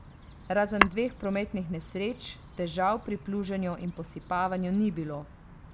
Razen dveh prometnih nesreč težav pri pluženju in posipavanju ni bilo.